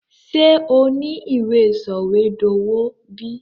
Sé o ni ìwé sọ̀wédowó bi?